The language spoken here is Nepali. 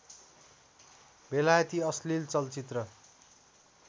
बेलायती अश्लिल चलचित्र